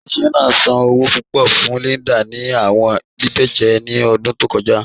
Ile-iṣẹ naa san owo pupọ fun Linda ni awọn bíbẹ̀jẹ̀ ni ọdun tó kọja.